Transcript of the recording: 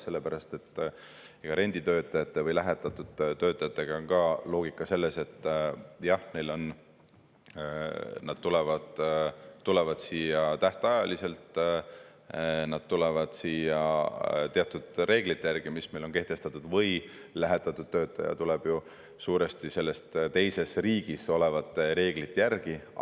Sellepärast et renditöötajate või lähetatud töötajate puhul on ka loogika selles, et jah, nad tulevad siia tähtajaliselt, nad tulevad siia teatud reeglite järgi, mis meil on kehtestatud, ja lähetatud töötaja tuleb ju suuresti selles teises riigis olevate reeglite järgi.